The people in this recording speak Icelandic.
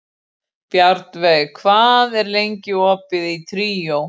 Bjarnveig, hvað er lengi opið í Tríó?